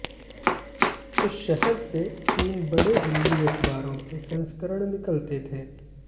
उस शहर से तीन बड़े हिंदी अखबारों के संस्करण निकलते थे